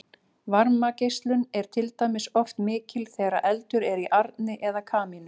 varmageislun er til dæmis oft mikil þegar eldur er í arni eða kamínu